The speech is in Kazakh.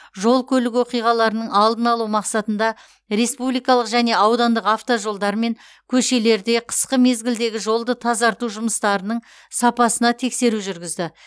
жол көлік оқиғаларының алдын алу мақсатында республикалық және аудандық автожолдар мен көшелерде қысқы мезгілдегі жолды тазарту жұмыстарының сапасына тексеру жүргізді